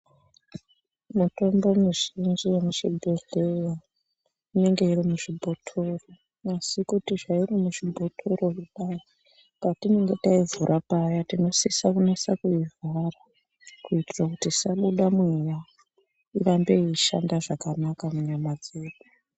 Mitombo mizhinji yemuzvibhehlera inenge iri muzvibhotoro. Asi kuti zvairi muzvibhotoro kudai patinenge teivhura paya, tinosise kunase kuivhara kuitire kuti isabuda mweya, irambe yeishanda zvakanaka munyama dzedu.